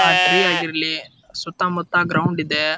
ಆ ಟ್ರೀ ಆಗಿರ್ಲಿ ಸುತ್ತ ಮುತ್ತ ಗ್ರೌಂಡ್ ಇದೆ.